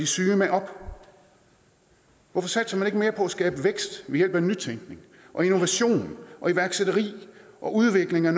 syge med op hvorfor satser man ikke mere på at skabe vækst ved hjælp af nytænkning og innovation og iværksætteri og udvikling af